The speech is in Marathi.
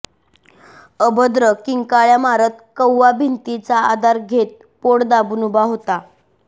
अभद्र किंकाळ्या मारत कव्वा भिंतीचा आधार घेत पोट दाबून उभा होता